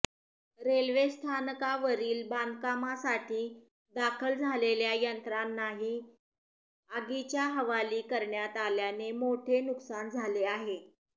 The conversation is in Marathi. रेल्वेस्थानकावरील बांधकामासाठी दाखल झालेल्या यंत्रांनाही आगीच्या हवाली करण्यात आल्याने मोठे नुकसान झाले आहे